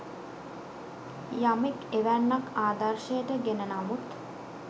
යමෙක් එවැන්නක් ආදර්ශයට ගෙන නමුත්